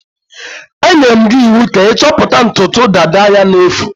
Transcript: Enyere m gi iwu ka i choputa ntutu dada ya na-efu.